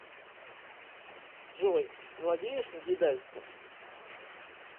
джой владеешь негидальским